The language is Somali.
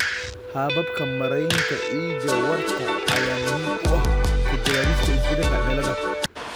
Hababka maaraynta ciidda waarta ayaa muhiim u ah ka jawaabista isbeddelka cimilada.